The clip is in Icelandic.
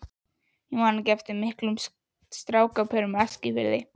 Ég man ekki eftir miklum strákapörum á Eskifirði.